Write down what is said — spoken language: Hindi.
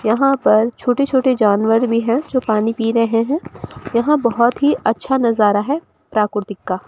यहां पर छोटे छोटे जानवर भी हैं जो पानी पी रहे हैं यहां बहोत ही अच्छा नज़रा है प्राक्रूतिक का--